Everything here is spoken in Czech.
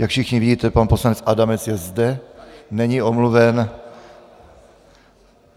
Jak všichni vidíte, pan poslanec Adamec je zde, není omluven.